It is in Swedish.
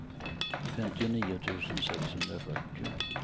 femtionio tusen sexhundrafyrtio